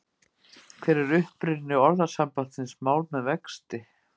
Hver er uppruni orðasambandsins mál með vexti.